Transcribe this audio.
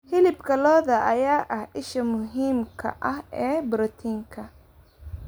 Hilibka lo'da ayaa ah isha muhiimka ah ee borotiinka.